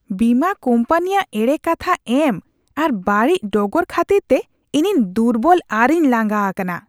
ᱵᱤᱢᱟᱹ ᱠᱳᱢᱯᱟᱱᱤᱭᱟᱜ ᱮᱲᱮ ᱠᱟᱛᱷᱟ ᱮᱢ ᱟᱨ ᱵᱟᱹᱲᱤᱡ ᱰᱚᱜᱚᱨ ᱠᱷᱟᱹᱛᱤᱨᱛᱮ ᱤᱧᱤᱧ ᱫᱩᱨᱵᱚᱞ ᱟᱨᱤᱧ ᱞᱟᱸᱜᱟ ᱟᱠᱟᱱᱟ ᱾